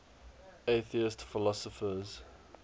atheist philosophers